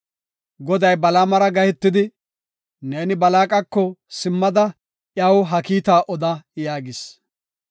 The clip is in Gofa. Goday Balaamara gahetidi, “Neeni Balaaqako simmada iyaw ha kiita oda” yaagis.